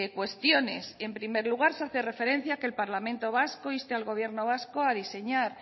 cuestiones en primer lugar se hace referencia a que el parlamento vasco inste al gobierno vasco a diseñar